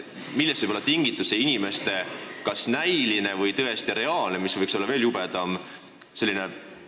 Millest võib olla tingitud see inimeste kas näiline või reaalne – mis võiks veel jubedam olla?